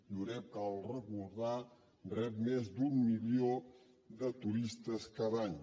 lloret cal recordar ho rep més d’un milió de turistes cada any